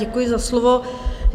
Děkuji za slovo.